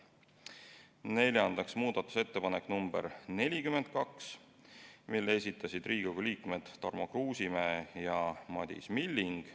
Neljandaks, muudatusettepanek nr 42, mille esitasid Riigikogu liikmed Tarmo Kruusimäe ja Madis Milling.